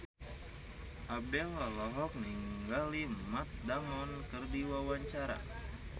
Abdel olohok ningali Matt Damon keur diwawancara